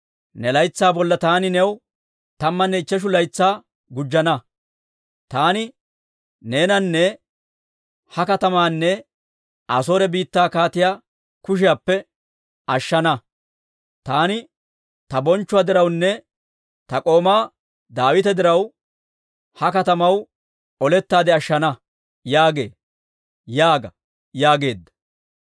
Ne laytsaa bolla taani new tammanne ichcheshu laytsaa gujjana. Taani neenanne ha katamaanne Asoore biittaa kaatiyaa kushiyaappe ashshana. Taani ta bonchchuwaa dirawunne ta k'oomaa Daawita diraw, ha katamaw olettaade ashshana» yaagee› yaaga» yaageedda.